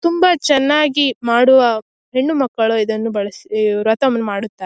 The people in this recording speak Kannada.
ತುಂಬಾ ಚೆನ್ನಾಗಿ ಮಾಡುವ ಹುಣ್ಣುಮಕ್ಕಳು ಇದನ್ನು ಬಳಸು ಈ ವ್ರತವನ್ನು ಮಾಡುತ್ತಾರೆ.